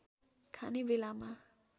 खाने बेलामा